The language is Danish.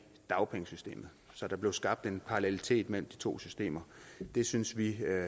dagpengesystemet så der blev skabt en parallelitet mellem de to systemer det synes vi er